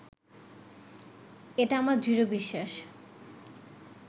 এটা আমার দৃঢ় বিশ্বাস